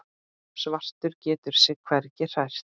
Svartur getur sig hvergi hrært.